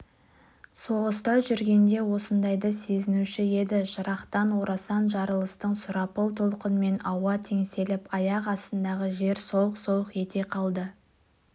соғыста жүргенде осындайды сезінуші еді жырақтан орасан жарылыстың сұрапыл толқынымен ауа теңселіп аяқ астындағы жер солқ-солқ ете қалды